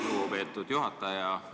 Aitäh, lugupeetud juhataja!